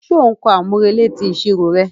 Ṣe o n kọ amurele ti iṣiro rẹ?